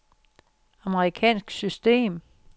amerikansk system